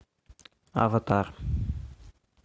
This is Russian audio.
аватар